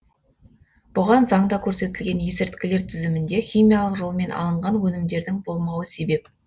бұған заңда көрсетілген есірткілер тізімінде химиялық жолмен алынған өнімдердің болмауы себеп